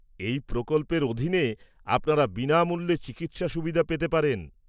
-এই প্রকল্পের অধীনে আপনারা বিনামূল্যে চিকিৎসা সুবিধা পেতে পারেন।